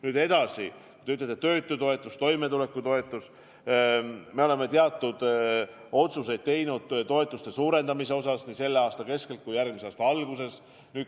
Nüüd edasi, kui te ütlete, et töötutoetus, toimetulekutoetus – me oleme teatud otsuseid teinud toetuste suurendamise kohta nii selle aasta keskelt kui ka järgmise aasta algusest.